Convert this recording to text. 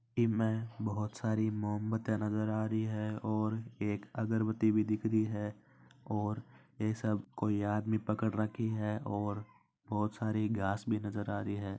इस में एक बहुत सारी मोमबत्ती नज़र आरी है और एक अगरबती भी दिख रही है और ये सब आदमी कोई पकड रखा है और बहुत सारी घास भी नज़र आ रही है।